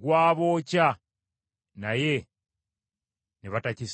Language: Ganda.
Gwabookya naye ne batakissaako mwoyo.